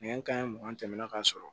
Nɛgɛ kanɲɛ mugan tɛmɛna ka sɔrɔ